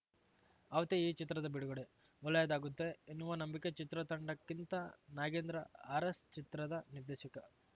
ಅವತ್ತೇ ಈ ಚಿತ್ರದ ಬಿಡುಗಡೆ ಒಳ್ಳೆಯದಾಗುತ್ತೆ ಎನ್ನುವ ನಂಬಿಕೆ ಚಿತ್ರತಂಡಕ್ಕಿಂತ ನಾಗೇಂದ್ರ ಅರಸ್‌ಚಿತ್ರದ ನಿರ್ದೇಶಕ